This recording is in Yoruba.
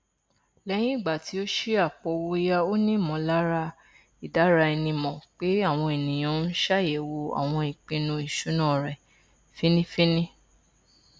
lẹyìn ìgbà tí ó ṣí àpòowóòyá ó ní ìmọlára ìdáraẹnimọ pé àwọn ènìyàn n ṣàyẹwò àwọn ìpinnu ìṣúná rẹ fínnífiínní